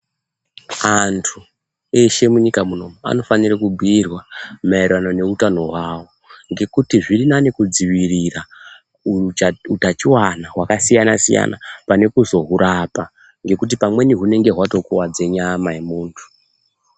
Antu eshe munyika munomu anofanire kubhiirwa maererano neutano hwavo ngekuti zviri nani kudzivirira utachiwana hwakasiyana siyana pane kuzohwurapa ngekuti pamweni hwunenge hwatokuwadze nyama yemuntu.